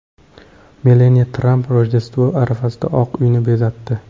Melaniya Tramp Rojdestvo arafasida Oq Uyni bezatdi .